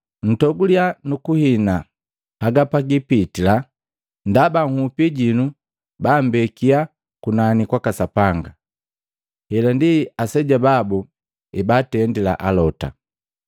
Ntoguliya nukuhina haga pagipitila ndaba nhupi jinu bammbekia kunani kwaka Sapanga. Hela ndi aseja babu ebaatendila alota.